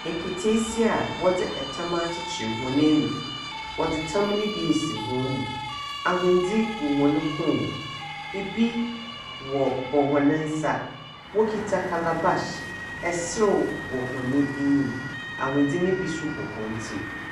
Nketeesia a wɔdze tam akyekyer hɔn enufu. Wɔdze tam no bi asi hɔn mu. Ahwendze gu hɔn kɔn mu. Ibi wɔbɔ hɔn nsa. Wɔkita calabash. Serew wɔ hɔ enyim. Ahwendze no bi nso bɔ hɔn tsir.